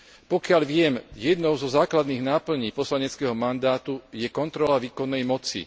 Pokiaľ viem, jednou zo základných náplní poslaneckého mandátu je kontrola výkonnej moci.